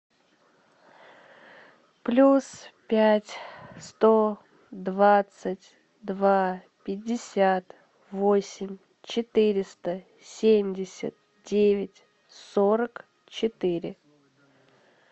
плюс пять сто двадцать два пятьдесят восемь четыреста семьдесят девять сорок четыре